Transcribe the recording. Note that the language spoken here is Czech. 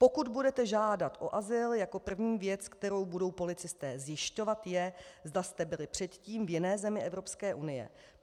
Pokud budete žádat o azyl, jako první věc, kterou budou policisté zjišťovat, je, zda jste byli předtím v jiné zemi Evropské unie.